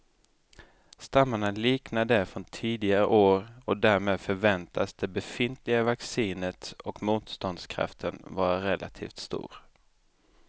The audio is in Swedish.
Stammarna liknar de från tidigare år och därmed förväntas det befintliga vaccinet och motståndskraften vara relativt stor.